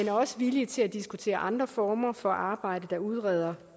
er også villige til at diskutere andre former for arbejde der udreder